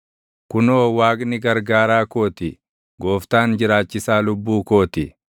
Kunoo, Waaqni gargaaraa koo ti; Gooftaan jiraachisaa lubbuu koo ti.